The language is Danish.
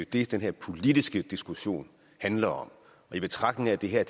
det den her politiske diskussion handler om i betragtning af at det her